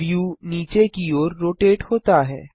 view नीचे की ओर रोटेट होता है